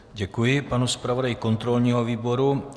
Děkuji panu zpravodaji kontrolního výboru.